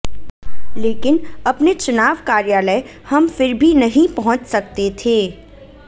लेकिन अपने चुनाव कार्यालय हम फिर भी नहीं पहुंच सकते थे